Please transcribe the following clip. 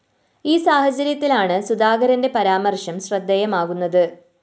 ഈ സാഹചര്യത്തിലാണ് സുധാകരന്റെ പരാമര്‍ശം ശ്രദ്ധയമാകുന്നത്